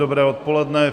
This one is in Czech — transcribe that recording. Dobré odpoledne.